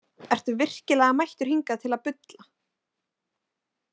Ertu virkilega mættur hingað til að bulla?